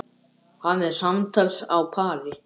Hann er samtals á pari.